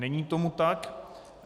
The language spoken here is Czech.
Není tomu tak.